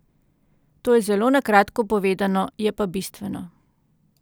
To je zelo na kratko povedano, je pa bistveno.